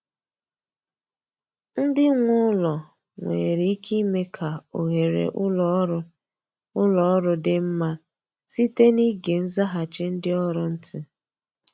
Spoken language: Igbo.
Ndị nwe ụlọ nwere ike ime ka oghere ụlọ ọrụ ụlọ ọrụ dị mma site n’ịge nzaghachi ndị ọrụ ntị